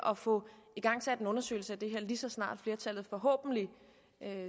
at få igangsat en undersøgelse af det her lige så snart flertallet forhåbentlig